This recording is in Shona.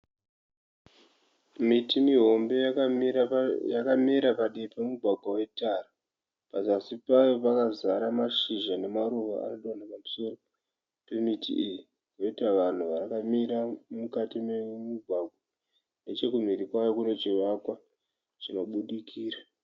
Miti mihombe yakamera padivi pemugwagwa wetara. Pazasi payo pakazara mashizha nemaruva arikudonha pamusoro pemiti iyi poita vanhu vakamira mukati memugwagwa nechekumhiri kwayo kune chivakwa chinobudikira.